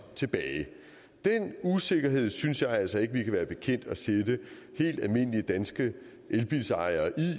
den usikkerhed synes jeg altså ikke at vi kan være bekendt at sætte helt almindelige danske elbilejere